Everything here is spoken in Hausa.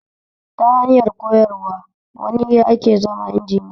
Ta hanyar koyar wane ake zama injiniya